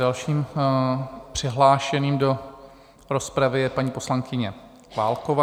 Dalším přihlášeným do rozpravy je paní poslankyně Válková.